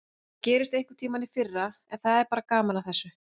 Talnaþulur um fallna og særða komust ekki inn fyrir hugans dyr.